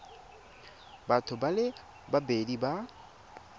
batho ba le babedi ba